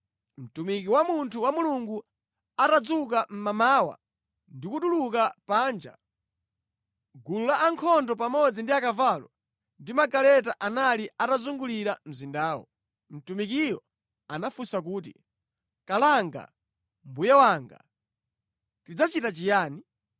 Mtumiki wa munthu wa Mulungu atadzuka mmamawa ndi kutuluka panja, gulu la ankhondo pamodzi ndi akavalo ndi magaleta anali atazungulira mzindawo. Mtumikiyo anafunsa kuti, “Kalanga mbuye wanga, tidzachita chiyani?”